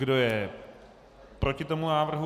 Kdo je proti tomu návrhu?